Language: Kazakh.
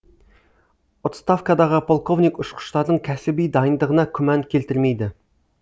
отставкадағы полковник ұшқыштардың кәсіби дайындығына күмән келтірмейді